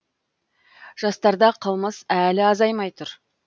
жастарда қылмыс әлі азаймай тұр